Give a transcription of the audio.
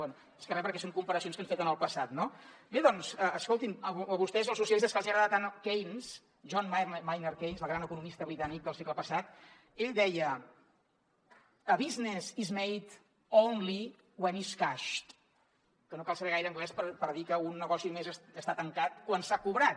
bé més que re perquè són comparacions que han fet en el passat no bé doncs escolti’m a vostès els socialistes que els hi agrada tant keynes john maynard keynes el gran economista britànic del segle passat ell deia a business is made only when is cashed que no cal saber gaire anglès per dir que un negoci només està tancat quan s’ha cobrat